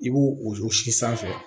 I b'u jɔ si sanfɛ